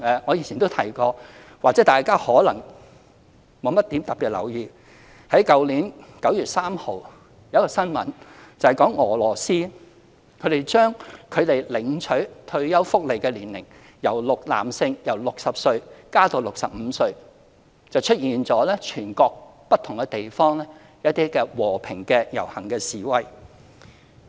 我以前也曾提過，但或許大家沒有特別留意，就是去年9月3日有一宗新聞，指俄羅斯將男性領取退休福利的年齡由60歲延遲至65歲，全國不同地方出現和平遊行示威。